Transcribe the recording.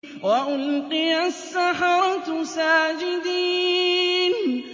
وَأُلْقِيَ السَّحَرَةُ سَاجِدِينَ